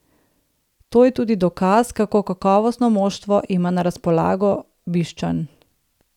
To je tudi dokaz, kako kakovostno moštvo ima na razpolago Bišćan.